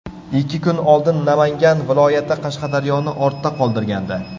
Ikki kun oldin Namangan viloyati Qashqadaryoni ortda qoldirgandi.